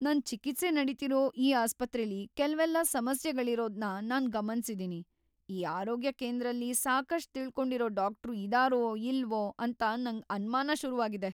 ನನ್ ಚಿಕಿತ್ಸೆ ನಡೀತಿರೋ ಈ ಆಸ್ಪತ್ರೆಲಿ ಕೆಲ್ವೆಲ್ಲ ಸಮಸ್ಯೆಗಳಿರೋದ್ನ ನಾನ್ ಗಮನ್ಸಿದೀನಿ. ಈ ಆರೋಗ್ಯ ಕೇಂದ್ರದಲ್ಲಿ ಸಾಕಷ್ಟ್‌ ತಿಳ್ಕೊಂಡಿರೋ ಡಾಕ್ಟ್ರು ಇದಾರೋ ಇಲ್ವೋ ಅಂತ ನಂಗ್ ಅನ್ಮಾನ ಶುರುವಾಗಿದೆ.